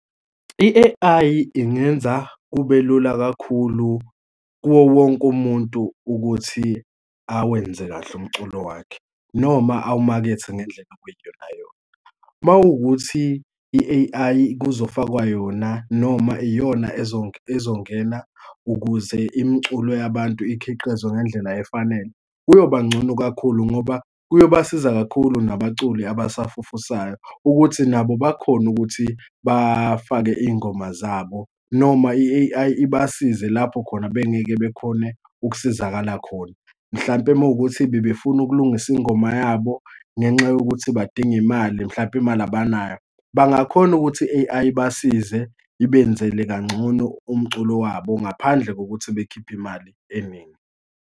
I-A_I ingenza kube lula kakhulu kuwowonke umuntu ukuthi awenze kahle umculo wakhe, noma awumakethe ngendlela ekuyiyonayona. Uma kuwukuthi i-A_I kuzofakwa yona noma iyona ezongena ukuze imiculo yabantu ikhiqizwe ngendlela efanele, kuyoba ngcono kakhulu, ngoba kuyobasiza kakhulu nabaculi abasafufusayo ukuthi nabo bakhone ukuthi bafake iy'ngoma zabo, noma i-A_I ibasize lapho khona bengeke bekhone ukusizakala khona. Mhlampe uma kuwukuthi bebefuna ukulungisa ingoma yabo ngenxa yokuthi badinga imali, mhlampe imali abanayo, bangakhona ukuthi i-A_I ibasize ibenzele kangcono umculo wabo ngaphandle kokuthi bakhiphe imali eningi.